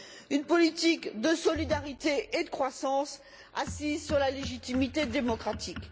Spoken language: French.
une politique de solidarité et de croissance assise sur la légitimité démocratique.